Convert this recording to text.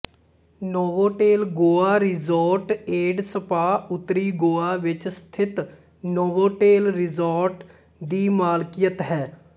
Novotel Goa resort and spa ਉੱਤਰੀ ਗੋਆ ਵਿੱਚ ਸਥਿਤ ਨੋਵੋਟੇਲ ਰਿਸੋਰਟ ਦੀ ਮਲਕੀਅਤ ਹੈ